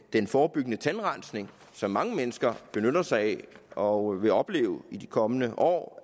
den forebyggende tandrensning som mange mennesker benytter sig af og vil opleve i de kommende år